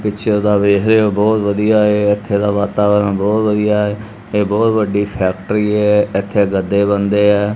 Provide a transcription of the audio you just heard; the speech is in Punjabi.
ਪਿੱਛੇ ਤਾਂ ਵੇਖ ਰਹੇ ਔ ਬੋਹਤ ਵਧੀਆ ਐ ਐਥੇ ਦਾ ਵਾਤਾਵਰਨ ਬੋਹਤ ਵਧੀਆ ਐ ਇਹ ਬੋਹਤ ਵਡੀ ਫੈਕਟਰੀ ਹੈ ਐਥੇ ਗੱਦੇ ਬਣਦੇ ਐ।